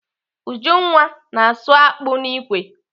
Ujunwa na-asụ akpụ n'ikwe.